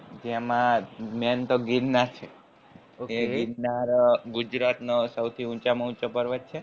જેમાં main તો ગીરનાર છે એ ગીરનાર ગુજરાત નો સૌથી ઊંચા માં ઉંચો પર્વત છે